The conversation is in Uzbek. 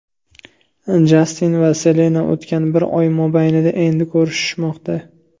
Jastin va Selena o‘tgan bir oy mobaynida endi ko‘rishishmoqda.